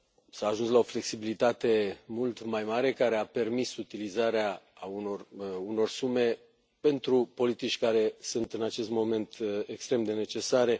S a ajuns la o flexibilitate mult mai mare, care a permis utilizarea unor sume pentru politici care sunt în acest moment extrem de necesare.